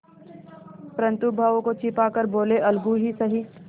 परंतु भावों को छिपा कर बोलेअलगू ही सही